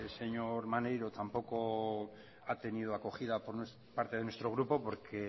señor maneiro tampoco ha tenido acogida por parte de nuestro grupo porque